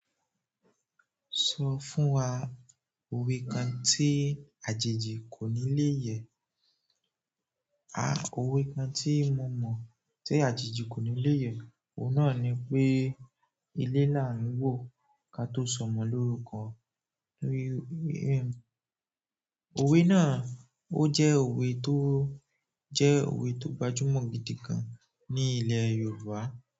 Sọ fún wa òwe kan tí àjèjì kò ní lé yẹ. A òwe kan tí mo mo tí àjèjì kò ní lé yẹ, òun náà ni pé ilé là ń wò ká to sọmọ lórúkọ. Òwe náà ó jẹ́ òwe tó jẹ́ òwe tó gbajúmọ̀ gidi gan ní ilẹ̀ Yorùbá.